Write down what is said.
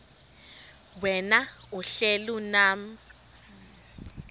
wena uhlel unam